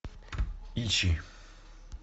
ищи